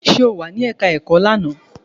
Ṣe o wà ní ẹka ẹ̀kọ́ ẹ̀kọ́ ní àná?